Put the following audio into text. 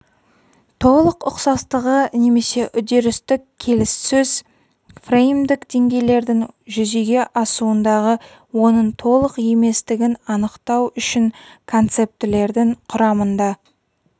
толық ұқсастығы немесе үдерістік-келіссөз фреймдік деңгейлердің жүзеге асуындағы оның толық еместігін анықтау үшін концептілердің құрамында